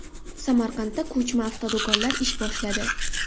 Samarqandda ko‘chma avtodo‘konlar ish boshladi.